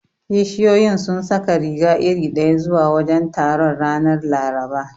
Kishiyoyin sun saka riga iri ɗaya zuwa wajen taron, ranar Laraba.